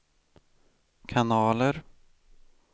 kanaler